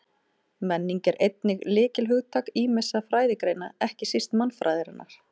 Menning er einnig lykilhugtak ýmissa fræðigreina, ekki síst mannfræðinnar.